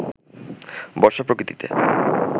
বর্ষা প্রকৃতিতে